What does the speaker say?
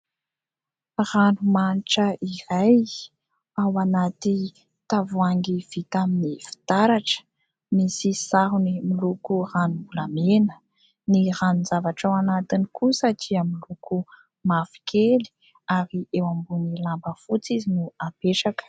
Ranomanitra iray ao anaty tavoahangy vita amin'ny fitaratra, misy sarony miloko ranom-bola mena. Ny ranon-javatra ao anatiny kosa dia miloko mavokely ary eo ambonin'ny lamba fotsy izy no apetraka.